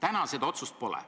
Seni seda otsust pole.